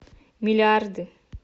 миллиарды